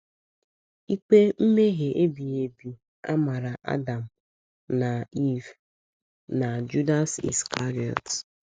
Ikpe mmehie ebighị ebi a mara Adam na Iv na Judas Iskarịọt.